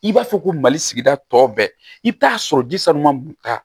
I b'a fɔ ko mali sigida tɔ bɛɛ i bɛ taa sɔrɔ